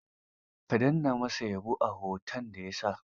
Ka danna ma sa yabo a hoton da ya sa.